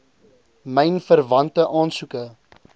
myn verwante aansoeke